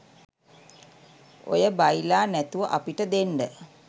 ඔය බයිලා නැතුව අපිට දෙන්ඩ